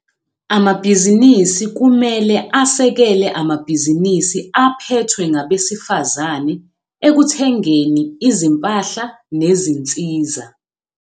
Amabhizinisi kumele asekele amabhizinisi aphethwe ngabesifazane ekuthengeni izimpahla nezinsiza.